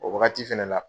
O wagati fɛnɛ la